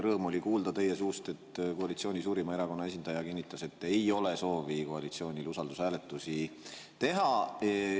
Rõõm oli kuulda teie suust, kui koalitsiooni suurima erakonna esindaja kinnitas, et koalitsioonil ei ole soovi usaldushääletusi teha.